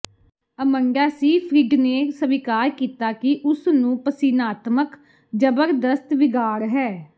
Amanda Seyfried ਨੇ ਸਵੀਕਾਰ ਕੀਤਾ ਕਿ ਉਸ ਨੂੰ ਪਸੀਨਾਤਮਕ ਜਬਰਦਸਤ ਵਿਗਾੜ ਹੈ